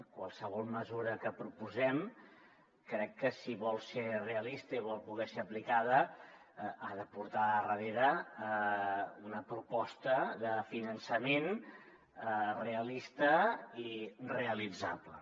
qualsevol mesura que proposem crec que si vol ser realista i vol poder ser aplicada ha de portar darrere una proposta de finançament realista i realitzable